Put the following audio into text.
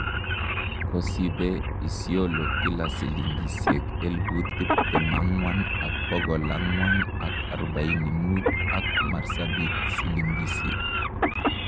kosibe Isiolo kila silingisieg elput tiptem angwan ak pokol angwang ak arubaini mut ak marsabit silingisieg